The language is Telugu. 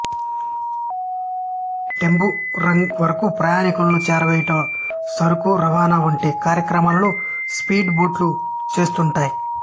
టెంబురాంగ్ వరకు ప్రయాణీకులను చేరవేయుట సరకు రవాణా వంటి కార్యక్రమాలను స్పీడ్ బోట్లు చేస్తుంటాయి